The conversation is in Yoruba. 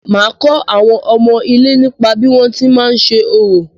Màá kọ́ àwọn ọmọ ilé nípa bí wọ́n ti má ń ṣe orò.